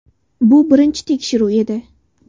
Bu birinchi tekshiruv edi.